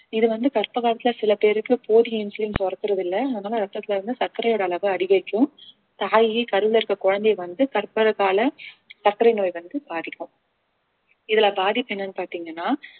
இது வந்து கர்ப்ப காலத்துல சில பேருக்கு போதிய இன்சுலின் சுரக்கிறது இல்ல அதனால ரத்தத்துல வந்து சர்க்கரையோட அளவை அதிகரிக்கும் தாய் கருவிலே இருக்க குழந்தையை வந்து கர்ப்பகால சர்க்கரை நோய் வந்து பாதிக்கும் இதுல பாதிப்பு என்னன்னு பார்த்தீங்கன்னா